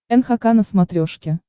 нхк на смотрешке